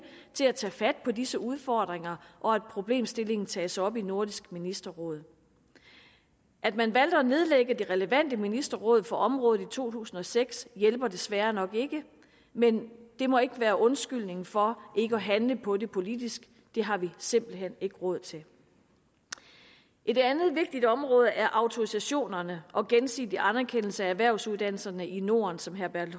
til at tage fat på disse udfordringer og at problemstillingen tages op i nordisk ministerråd at man valgte at nedlægge det relevante ministerråd for området i to tusind og seks hjælper desværre nok ikke men det må ikke være undskyldningen for ikke at handle på det politisk det har vi simpelt hen ikke råd til et andet vigtigt område er autorisationerne og gensidig anerkendelse af erhvervsuddannelserne i norden som herre bertel